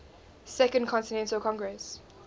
second continental congress